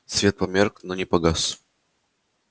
свет померк но не погас